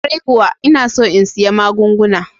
Kwarai kuwa, ina son in siya magunguna.